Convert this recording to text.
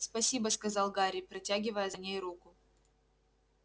спасибо сказал гарри протягивая за ней руку